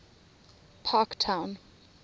parktown